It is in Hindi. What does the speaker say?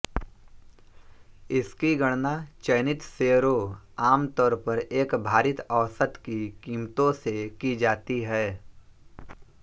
इसकी गणना चयनित शेयरों आमतौर पर एक भारित औसत की कीमतों से की जाती है